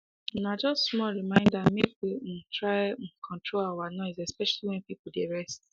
um na just small reminder make we um try um control our noise especially when people dey rest